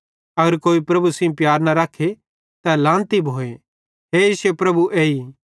अगर कोई प्रभु सेइं प्यार न रखे तै लानती भोए हे इश्शे प्रभु एई